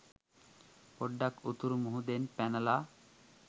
පොඩ්ඩක් උතුරු මුහුදෙන් පැනල